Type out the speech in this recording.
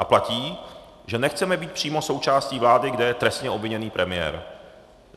A platí, že nechceme být přímo součástí vlády, kde je trestně obviněný premiér.